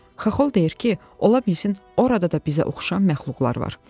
Xaxol deyir ki, ola bilsin orada da bizə oxşayan məxluqlar var.